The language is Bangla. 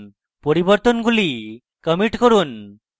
পরিবর্তনগুলি commit করুন